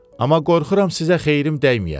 Amma qorxuram sizə xeyrim dəyməyə.